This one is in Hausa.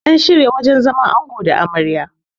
an shirya wajen zaman ango da Amarya